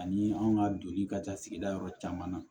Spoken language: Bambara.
Ani anw ka doni ka taa sigida yɔrɔ caman